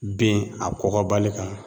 Ben a kɔgɔbali kan